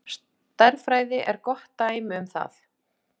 Stærðfræði er gott dæmi um það.